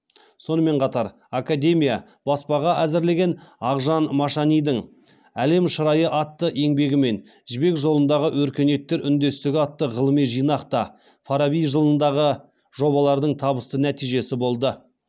сонымен қатар академия баспаға әзірлеген ақжан машанидің әлем шырайы атты еңбегі мен жібек жолындағы өркениеттер үндестігі атты ғылыми жинақ та фараби жылындағы жобалардың табысты нәтижесі болды